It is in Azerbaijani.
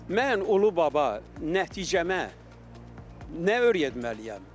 Mən ulu baba nəticəmə nə öyrətməliyəm?